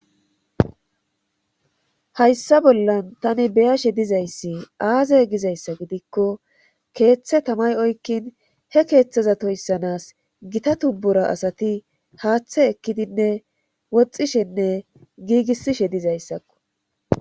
Hayssa bollan tani beyashe dizayssi aaze gizayssa gidikko keeththe tamay oykkin he keeththeza toyssanas gita tubbura asati haaththe ekkidinne woxxishenne giigissishe dizayssakko.